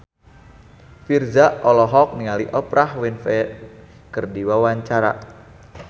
Virzha olohok ningali Oprah Winfrey keur diwawancara